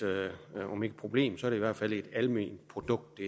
problem så i hvert fald et alment produkt